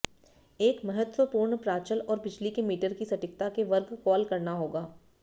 एक महत्वपूर्ण प्राचल और बिजली के मीटर की सटीकता के वर्ग कॉल करना होगा